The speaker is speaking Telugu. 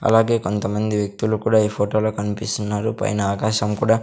అలాగే కొంతమంది వ్యక్తులు కూడా ఈ ఫోటో లో కన్పిస్తున్నారు పైన ఆకాశం కుడా--